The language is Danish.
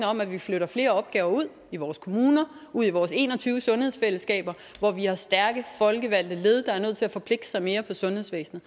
om at vi flytter flere opgaver ud i vores kommuner ud i vores en og tyve sundhedsfællesskaber hvor vi har stærke folkevalgte led der er nødt til at forpligte sig mere på sundhedsvæsenet